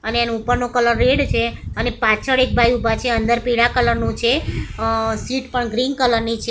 અને એનો ઉપરનો કલર રેડ છે અને પાછળ એક ભાઈ ઊભા છે અંદર પીડા કલર નુ છે અ સીટ પણ ગ્રીન કલર ની છે.